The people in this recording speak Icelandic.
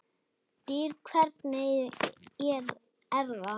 DYR, HVERNIG ER ÞAÐ!